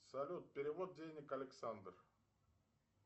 салют перевод денег александр